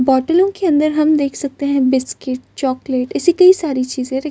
बोटलो के अंदर हम देख सकते है बिस्किट चॉकलेट इसी कई सारी चीज़े रखी --